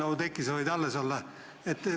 Oudekki, sa võid alles olla.